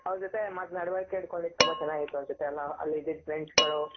ಅವರ ಜೊತೆ ನಡುವಳಿಕೆ ಇಟ್ಕೊಂಡಿದ್ದು ತುಂಬಾ ಚೆನ್ನಾಗಿತ್ತು ಅನ್ಸುತ್ತೆ ಎಲ್ಲಾ ಅಲ್ಲಿ ಇದ್ದಿದ್ friends ಗಳು.